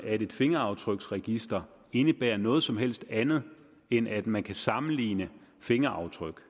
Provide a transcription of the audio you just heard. at et fingeraftryksregister indebærer noget som helst andet end at man kan sammenligne fingeraftryk